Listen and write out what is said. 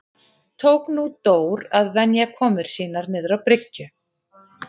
Tók nú Dór að venja komur sínar niður á bryggju.